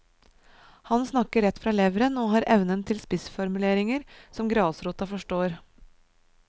Han snakker rett fra leveren og har evnen til spissformuleringer som grasrota forstår.